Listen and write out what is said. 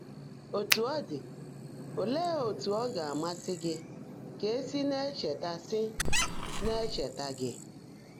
Ótú ó ḍị́, óleé ótú ọ́ gá-àmàsị́ gị́ kà è sí ná-ècheèta sí ná-ècheèta gị́?